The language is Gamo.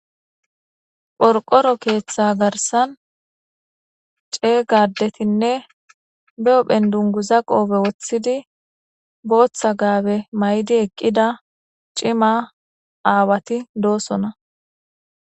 phorqoro keeththa garsan cee gadetinne be7o phendungu za qoobe woththidi booththa gaabe may7di eqqida cima aawati doosona